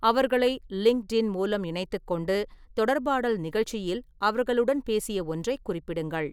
அவர்களை லிங்க்டின் மூலம் இணைத்துக் கொண்டு, தொடர்பாடல் நிகழ்ச்சியில் அவர்களுடன் பேசிய ஒன்றைக் குறிப்பிடுங்கள்.